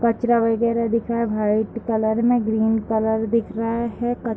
कचरा वगैरा दिख रहा है। व्हाइट कलर में ग्रीन कलर दिख रहा है। क--